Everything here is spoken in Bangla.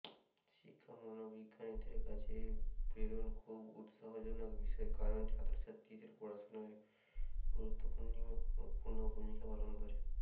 শিক্ষা মনোবৈজ্ঞানিকদের কাছে প্রেরণা খুব উৎসাহজনক বিষয় কারণ ছাত্রছাত্রীদের পড়াশোনায় এটি গুরুত্বপূর্ণ ভূমিকা পালন করে